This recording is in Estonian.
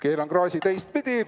Keeran klaasi teistpidi.